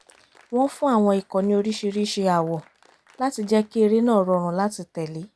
wọ́n fún àwọn ikọ̀ ní oríṣiríṣi àwọ̀ láti jẹ́ kí eré náà rọrùn láti tẹ̀lé